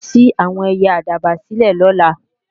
Mà á ṣí àwọn ẹyẹ àdàbà sílè lọ́la